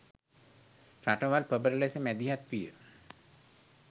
රටවල් ප්‍රබල ලෙස මැදිහත් විය